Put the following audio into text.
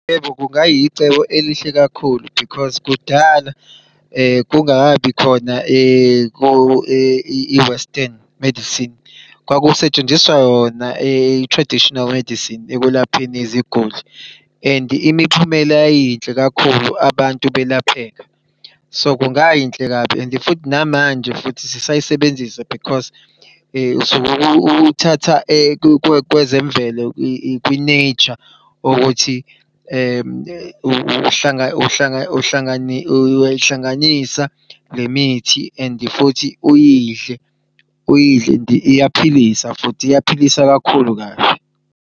Yebo kungayicebo elihle kakhulu, because kudala kungakabi khona i-western medicine kwakusetshenziswa yona i-traditional medicine ekwelapheni iziguli. And imiphumela yayiyinhle kakhulu abantu belapheka so kungayinhle kabi and futhi namanje futhi sisayisebenzisa because usukuthatha kwezemvelo kwi-nature ukuthi uyayihlanganisa lemithi and futhi uyidle uyidle and iyaphilisa futhi iyaphilisa kakhulu kabi.